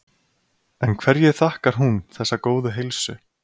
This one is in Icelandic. En hverju þakkar hún þessa góðu heilsu?